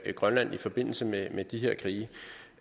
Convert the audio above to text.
grønland i forbindelse med med disse krige